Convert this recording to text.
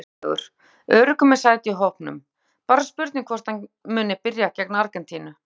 Ósnertanlegur- Öruggur með sæti í hópnum, bara spurningin hvort hann muni byrja gegn Argentínu?